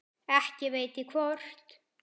Ekki veit ég hvort